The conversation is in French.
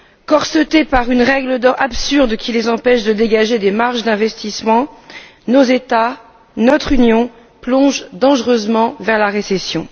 Corsetés par une règle absurde qui les empêche de dégager des marges d'investissement, nos États, notre Union plongent dangereusement vers la récession.